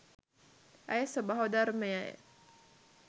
ඇය ස්වභාවධර්මය